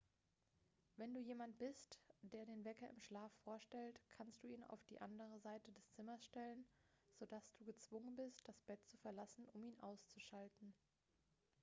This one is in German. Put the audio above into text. wenn du jemand bist der den wecker im schlaf vorstellt kannst du ihn auf die andere seite des zimmers stellen so dass du gezwungen bist das bett zu verlassen um ihn auszuschalten